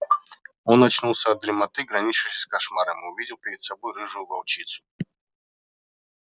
он очнулся от дремоты граничившей с кошмаром и увидел перед собой рыжую волчицу